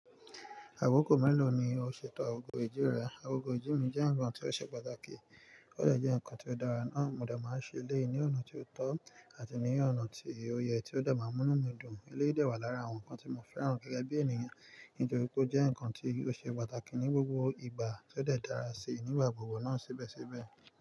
Àkoko mélòó ni o ṣètò agogo ìjì rẹ? Agogo ìjì mi jẹ́ ǹkan tí ó ṣe pàtàkì, ó de je ǹkan tí ó dára ná. Mo de máa ń ṣe eleyi ní ọ̀nà tí ó tọ́ àti ní ọ̀nà tí ó yẹ tí ó de máa ń mú inú mi dùn. Eléyìí de wà lára àwọn ǹkan tí mo fẹ́ràn gẹ́gẹ́ bí ènìyàn, nítorí pé ó jẹ́ ǹkan tí ó ṣe pàtàkì ní gbogbo ìgbà, tó de dàra sí i nígbà gbogbo ná síbẹ̀síbẹ̀